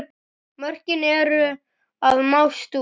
Mörkin eru að mást út.